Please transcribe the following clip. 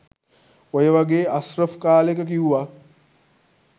ඔය වගේ අස්රෆ් කාලෙක කිව්වා